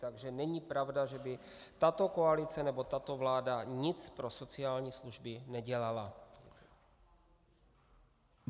Takže není pravda, že by tato koalice nebo tato vláda nic pro sociální služby nedělala.